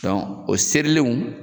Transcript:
Dɔnku o serilenw